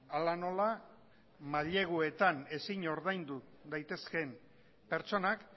hala nola maileguetan ezin ordaindu daitezkeen pertsonak